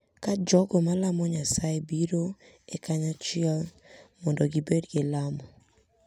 Ka jogo ma lamo Nyasaye biroe kanyachiel mondo gibed gi lamo,